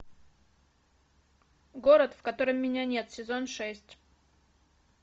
город в котором меня нет сезон шесть